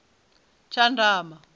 tshandama